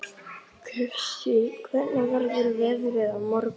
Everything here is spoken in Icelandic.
Kristine, hvernig verður veðrið á morgun?